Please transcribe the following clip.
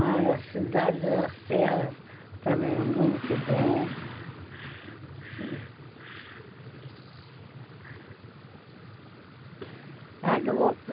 As cidades e as serras também são muito boas.